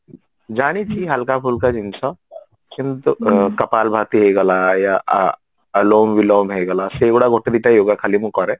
ଜାଣିଚି ହାଲକା ଫୁଲକା ଜିନିଷ କିନ୍ତୁ ହେଇଗଲା ଆଉ ଆଲାମ ବିଲମ ହେଇଗଲା ସେଇଗୁଡା ଗୋଟେ ଦିଟା yoga ଖାଲି ମୁଁ କରେ